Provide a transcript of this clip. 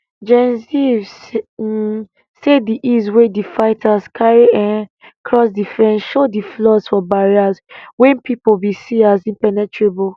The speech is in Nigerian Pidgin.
gen ziv um say di ease wey di fighters carry um cross di fence show di flaws for barriers wey pipo bin see as impenetrable